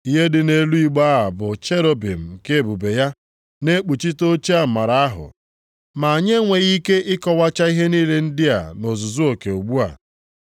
Ihe dị nʼelu igbe a bụ cherubim nke ebube ya, na-ekpuchite oche amara ahụ. Ma anyị enweghị ike ịkọwacha ihe niile ndị a nʼozuzu oke ugbu a.